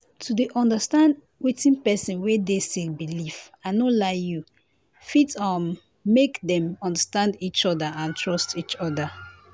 to dey understand wetin pesin wey dey sick believe i no lie you fit um make dem understand each other and trust each other.